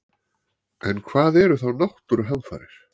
En hvað eru þá náttúruhamfarir?